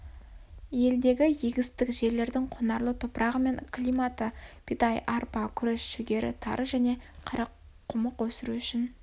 елдегі егістік жерлердің құнарлы топырағы мен климат бидай арпа күріш жүгері тары және қарақұмық өсіру үшін